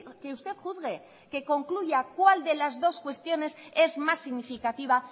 que usted juzgue que concluya cuál de las dos cuestiones es más significativa